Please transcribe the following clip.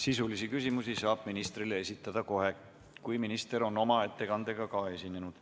Sisulisi küsimusi saab ministrile esitada kohe, kui minister on oma ettekandega esinenud.